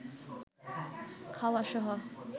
খাওয়া সহ